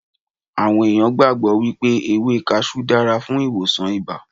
Awon ẹ̀yàn gbàgbọ́ wípé ewé Kaṣú dára fún ìwòsàn ibà.